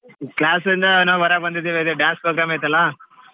Class ಇಂದಾ ನಾವ್ ಹೊರಗ್ ಬಂದಿದೆವೆ ಅದೆ dance program ಐತಲ್ಲ.